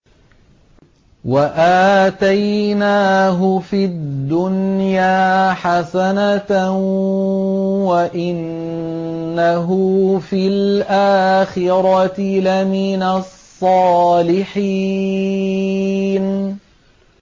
وَآتَيْنَاهُ فِي الدُّنْيَا حَسَنَةً ۖ وَإِنَّهُ فِي الْآخِرَةِ لَمِنَ الصَّالِحِينَ